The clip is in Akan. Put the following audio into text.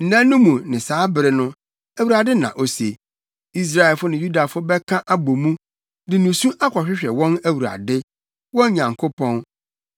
“Nna no mu ne saa bere no,” Awurade na ose, “Israelfo ne Yudafo bɛka abɔ mu de nusu akɔhwehwɛ wɔn Awurade, wɔn Nyankopɔn.